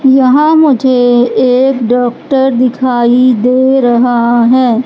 यहां मुझे एक डॉक्टर दिखाई दे रहा है।